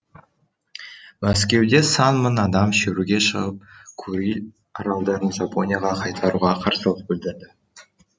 мәскеуде сан мың адам шеруге шығып куриль аралдарын жапонияға қайтаруға қарсылық білдірді